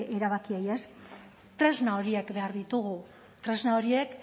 erabakiei ez tresna horiek behar ditugu tresna horiek